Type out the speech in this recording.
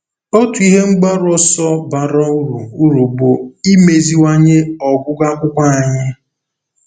Otu ihe mgbaru ọsọ bara uru uru bụ imeziwanye ọgụgụ akwụkwọ anyị.